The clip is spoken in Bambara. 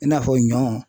I n'a fɔ ɲɔ